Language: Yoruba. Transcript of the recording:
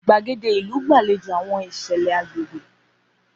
Gbaede ilu gbalejo awọn iṣẹlẹ agbegbe.